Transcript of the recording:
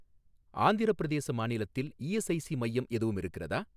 ஆந்திரப் பிரதேச மாநிலத்தில் இஎஸ்ஐஸி மையம் எதுவும் இருக்கிறதா?